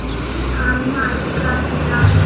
Hann ætlaði að vinna.